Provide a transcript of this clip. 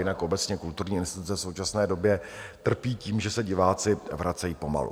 Jinak obecně kulturní instituce v současné době trpí tím, že se diváci vracejí pomalu.